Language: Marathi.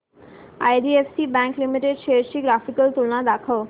आयडीएफसी बँक लिमिटेड शेअर्स ची ग्राफिकल तुलना दाखव